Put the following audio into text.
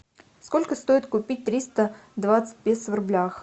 сколько стоит купить триста двадцать песо в рублях